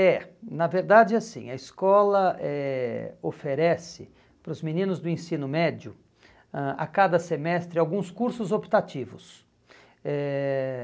É, na verdade é assim, a escola eh oferece para os meninos do ensino médio, ãh a cada semestre, alguns cursos optativos. Eh